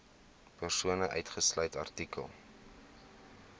persone uitgesluit artikel